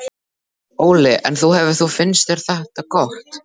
Óli: En þú hefur þú, finnst þér þetta gott?